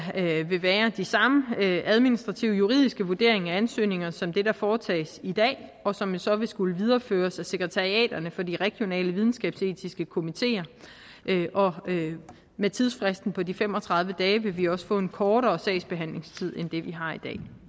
vil være den samme administrative og juridiske vurdering af ansøgninger som det der foretages i dag og som jo så vil skulle videreføres af sekretariaterne for de regionale videnskabsetiske komiteer og med tidsfristen på de fem og tredive dage vil vi også få en kortere sagsbehandlingstid end det vi har i